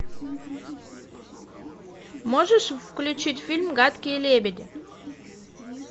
можешь включить фильм гадкие лебеди